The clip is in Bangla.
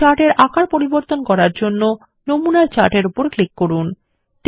একটি চার্ট এর আকার পরিবর্তন করার জন্য নমুনা চার্ট এর উপর ক্লিক করুন